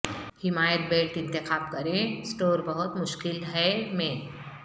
حمایت بیلٹ انتخاب کریں سٹور بہت مشکل ہے میں